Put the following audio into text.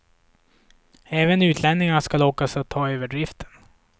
Även utlänningar ska lockas att ta över driften.